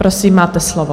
Prosím, máte slovo.